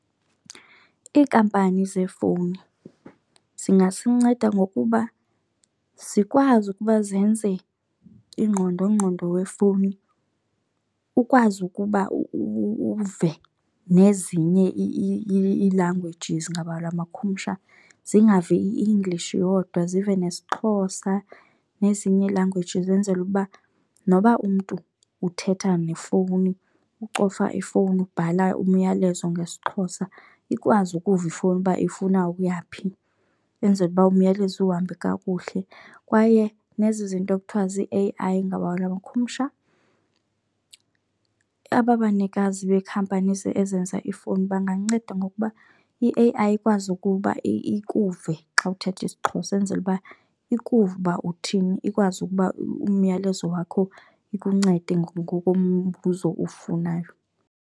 Iinkampani zeefowuni zingasinceda ngokuba zikwazi ukuba zenze ingqondongqondo wefowuni ukwazi ukuba uve nezinye i-languages ngabalabakhumsha zingavi i-English yodwa zive nesiXhosa nezinye i-languages enzele uba noba umntu uthetha nefowuni, ucofa ifowuni, ubhala umyalezo ngesiXhosa ikwazi ukuva ifowuni uba ifuna ukuya phi, enzele uba umyalezo uhambe kakuhle. Kwaye nezi zinto kuthiwa zi-A_I ngelabakhumsha aba banikazi bekhampani ezenza ifowuni banganceda ngokuba i-A_I ikwazi ukuba ikuve xa uthetha isiXhosa enzele uba ikuve uba uthini ikwazi ukuba umyalezo wakho ikuncede ngokombuzo uwufunayo.